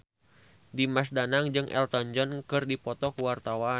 Dimas Danang jeung Elton John keur dipoto ku wartawan